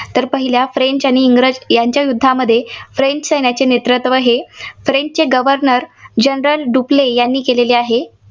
तर पहिल्या फ्रेंच आणि इंग्रज यांच्या युद्धामध्ये फ्रेंच सैन्याचे नेतृत्व हे फ्रेंचचे governor general डुप्ले यांनी केलेले आहे.